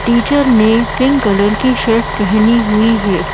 Teacher ने pink colour की shirt पहनी हुई है।